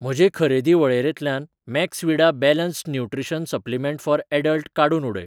म्हजे खरेदी वळेरेंतल्यान Maxvida balanced nutrition supplement for adult काडून उडय.